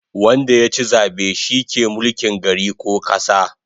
Wanda yachi zabe shi ke mulkin gari ko kasa